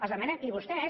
els demanem i vostès